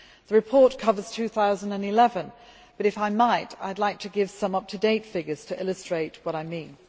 The report covers 2011 but, if I might, I would like to give some up to date figures to illustrate what I mean.